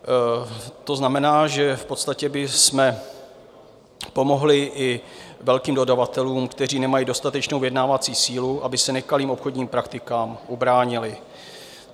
To znamená, že v podstatě bychom pomohli i velkým dodavatelům, kteří nemají dostatečnou vyjednávací sílu, aby se nekalým obchodním praktikám ubránili.